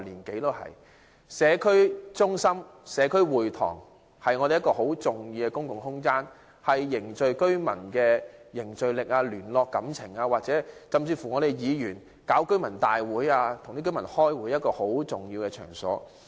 社區中心及社區會堂是很重要的公共空間，是凝聚居民、聯絡感情或議員舉辦居民大會或會議的重要場所。